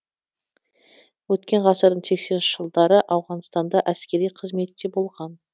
өткен ғасырдың сексенінші жылдары ауғанстанда әскери қызметте болған